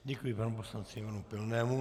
Děkuji panu poslanci Ivanu Pilnému.